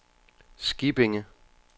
Skippinge